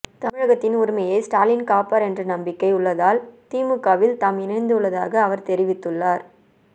தமிழகத்தின் உரிமையை ஸ்டாலின் காப்பார் என்ற நம்பிக்கை உள்ளதால் திமுகவில் தாம் இணைந்துள்ளதாக அவர் தெரிவித்துள்ளார்